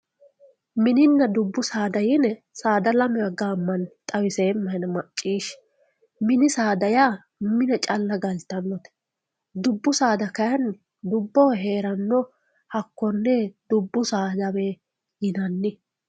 mininna dubbu saada yine saada lamewa gaammanni xawiseemmahena macciishshi mini saada yaa mine calla galtannote dubbu saada kayiinni dubboho heeranno hakkoye dubbu saadawe yinanni.